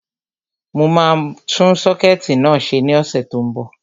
Mo máa tún sọ́kẹ̀tì náà ṣe ní ọ̀sẹ̀ tó n bọ̀